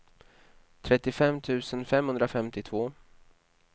trettiofem tusen femhundrafemtiotvå